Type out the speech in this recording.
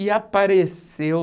E apareceu...